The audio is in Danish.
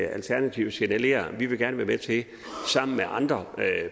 at alternativet signalerer at de gerne sammen med andre